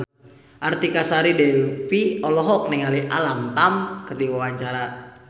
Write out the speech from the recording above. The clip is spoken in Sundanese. Artika Sari Devi olohok ningali Alam Tam keur diwawancara